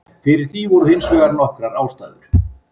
Fyrir því voru hins vegar nokkrar ástæður.